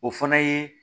O fana ye